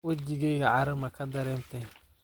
Wajigeyka cara makadaremtey.